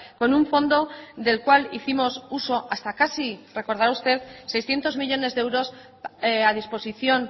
con un fondo del cual hicimos uso hasta casi recordara usted seiscientos millónes de euros a disposición